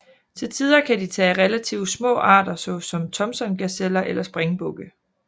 Til tider kan de tage relativt små arter såsom Thomsongazeller eller springbukke